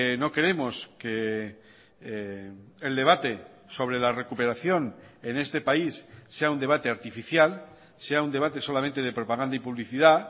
no queremos que el debate sobre la recuperación en este país sea un debate artificial sea un debate solamente de propaganda y publicidad